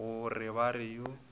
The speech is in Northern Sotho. go re ba re yo